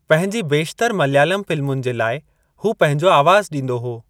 पंहिंजी बेशितरु मलयालम फ़िल्मुनि जे लाइ, हू पंहिंजो आवाज़ु ॾींदो हो।